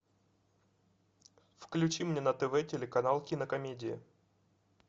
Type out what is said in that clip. включи мне на тв телеканал кинокомедия